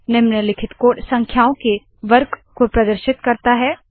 निम्नलिखित कोड संख्याओं के वर्ग को प्रदर्शित करता है